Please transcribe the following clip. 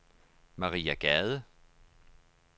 Maria Gade